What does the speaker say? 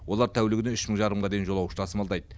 олар тәулігіне үш мың жарымға дейін жолаушы тасымалдайды